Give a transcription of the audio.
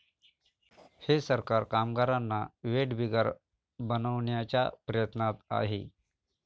हे सरकार कामगारांना वेठबिगार बनवण्याच्या प्रयत्नात आहे.